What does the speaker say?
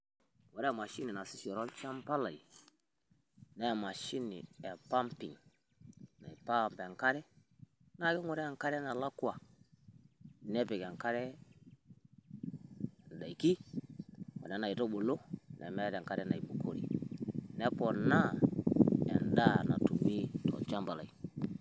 woore Emashini naasishore olchamba laii naa emashini epumping naipump enkare naa keng'oroo enkare ndaiki onena aitubulu nemeeta enkare naibukori neponaa endaa natumi tolchamba lai